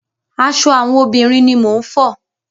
Aṣọ àwọn obìnrin ni mò ń fọ.